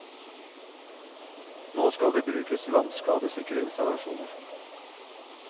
Nå skal det brukes vannskadesikre installasjoner.